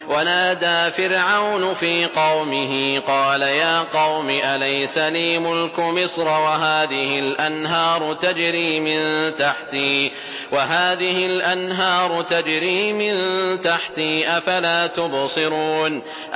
وَنَادَىٰ فِرْعَوْنُ فِي قَوْمِهِ قَالَ يَا قَوْمِ أَلَيْسَ لِي مُلْكُ مِصْرَ وَهَٰذِهِ الْأَنْهَارُ تَجْرِي مِن تَحْتِي ۖ أَفَلَا تُبْصِرُونَ